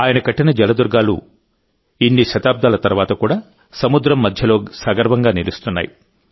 ఆయన కట్టిన జలదుర్గాలు ఇన్ని శతాబ్దాల తర్వాత కూడా సముద్రం మధ్యలో సగర్వంగా నిలుస్తున్నాయి